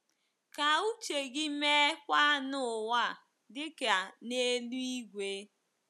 Ka uche gị meekwa n’ụwa, dị ka n’eluigwe.